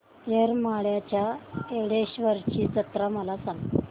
येरमाळ्याच्या येडेश्वरीची जत्रा मला सांग